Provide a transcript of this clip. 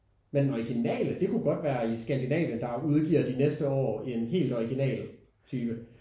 Men den originale det kunne godt være i Skandinavien der udgiver de næste år en helt original type